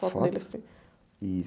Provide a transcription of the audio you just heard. fotos deles, assim.otos? E...